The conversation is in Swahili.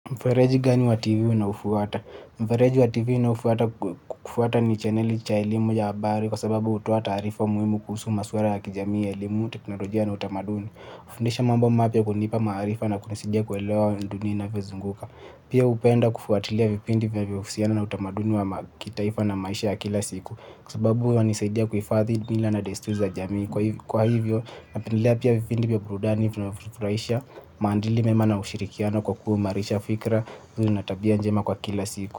Mfereji gani wa tv unaofuata? Mfereji wa tv njnaofuata kufuata ni chaneli cha elimu ya habari kwa sababu hutoa taarifa muhimu kuhusu maswala ya kijamii ya elimu, teknolojia na utamaduni. Hufundisha mambo mapya, kunipa maarifa na kunisaidia kuelewa vile dunia inavyozunguka. Pia hupenda kufuatilia vipindi vinavyohusiana na utamaduni wa kitaifa na maisha ya kila siku kwa sababu huwa inanisaidia kuhifadhi mila na desturi za jamii. Kwa hivyo, napendelea pia vipindi vya burudani vinavyofurahisha, maadili memaina ushirikiano kwa kuimarisha fikra, mwili na tabia njema kwa kila siku.